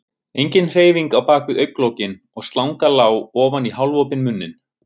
Engin hreyfing á bak við augnlokin og slanga lá ofan í hálfopinn munninn.